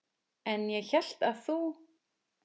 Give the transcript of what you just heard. En ég hélt að þú.